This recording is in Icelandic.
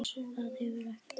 Maður hefur ekkert val.